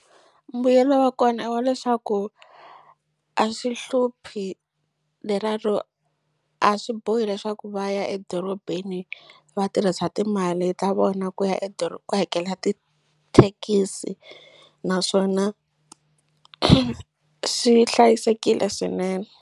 Mbuyelo wa kona i wa leswaku a swi hluphi leriya ro a swi bohi leswaku va ya edorobeni vatirhisa timali ta vona ku ya ku hakela tithekisi naswona swi hlayisekile swinene.